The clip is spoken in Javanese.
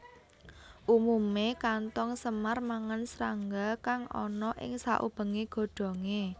Umumé kanthong semar mangan srangga kang ana ing saubengé godhongé